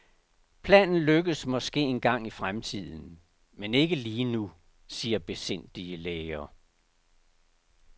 Planen lykkes måske engang i fremtiden, men ikke lige nu, siger besindige læger.